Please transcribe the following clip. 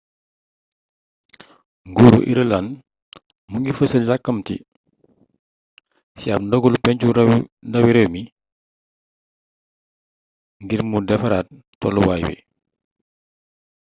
nguuruu irëland mu ngi fessal yakamati ci ab ndogalu pencu ndawi réew mi ngir mu defaraat tolluwaay wi